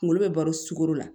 Kunkolo bɛ baro sugoro la